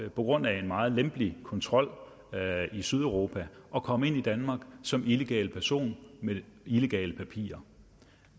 på grund af en meget lempelig kontrol i sydeuropa at komme ind i danmark som illegal person med illegale papirer